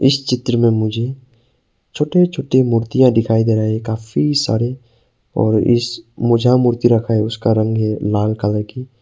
इस चित्र में मुझे छोटे छोटे मूर्तियां दिखाई दे रहा काफी सारे और इस मु जहां में मूर्ति रखा है उसका रंग है लाल कलर की।